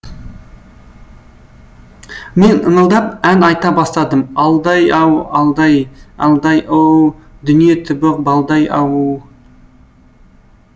мен ыңылдап ән айта бастадым алдай ау алдай алдай оууу дүние түбі балдай ауу